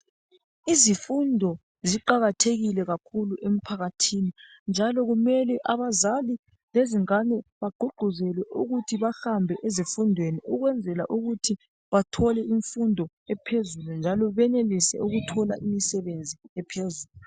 Izifundo ziqakathekile kakhulu emphakathini njalo kumele abazali lezingane bagqugquzelwe ukuthi bahambe ezifundweni ukwenzela ukuthi bathole imfundo ephezulu njalo benelise ukuthola imsebenzi ephezulu.